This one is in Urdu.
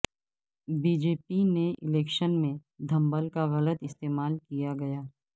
بی جے پی نے الیکشن میں دھنبل کا غلط استعمال کیا گیا